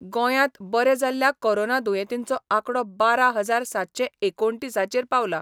गोंयात बरे जाल्ल्या कोरोना दुयेंतींचो आकडो बारा हजार सातशे एकोणतीसचेर पांवलां.